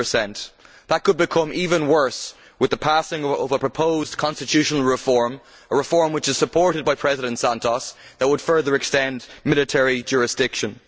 90. That could become even worse with the passing of a proposed constitutional reform a reform which is supported by President Santos that would further extend military jurisdiction.